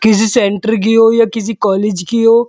किसी सेण्टर की हो या किसी कॉले की हो।